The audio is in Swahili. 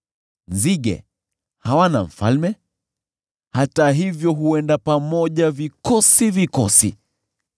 Nzige hawana mfalme, hata hivyo huenda pamoja vikosi vikosi.